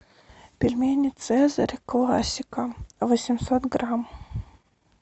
пельмени цезарь классика восемьсот грамм